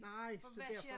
Nej så derfor